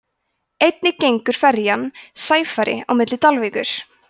einnig gengur ferjan sæfari á milli dalvíkur